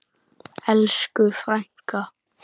Elsku frænka!